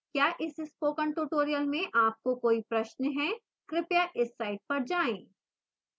क्या इस spoken tutorial में आपको कोई प्रश्न है कृपया इस साइट पर जाएं